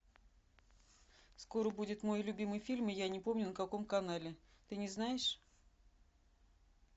скоро будет мой любимый фильм я не помню на каком канале ты не знаешь